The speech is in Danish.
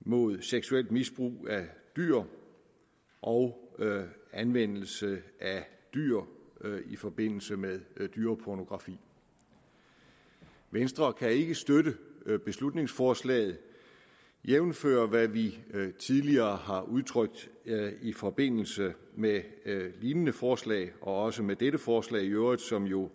mod seksuelt misbrug af dyr og anvendelse af dyr i forbindelse med dyrepornografi venstre kan ikke støtte beslutningsforslaget jævnfør hvad vi tidligere har udtrykt i forbindelse med lignende forslag og også med dette forslag i øvrigt som jo